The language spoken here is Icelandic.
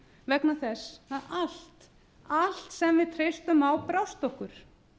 vegna þess að allt sem við treystum á brást okkur